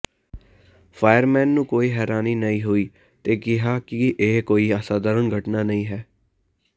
fireman ਨੂੰ ਕੋਈ ਹੈਰਾਨੀ ਨਹੀਂ ਹੋਈ ਅਤੇ ਕਿਹਾ ਕਿ ਇਹ ਕੋਈ ਅਸਧਾਰਨ ਘਟਨਾ ਨਹੀਂ ਹੈ